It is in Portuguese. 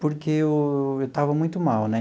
porque eu eu estava muito mal, né?